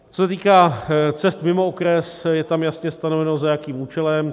Co se týká cest mimo okres, je tam jasně stanoveno, za jakým účelem.